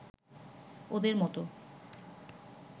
ওদের মত